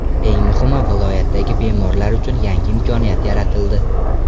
Eng muhimi, viloyatdagi bemorlar uchun yangi imkoniyat yaratildi.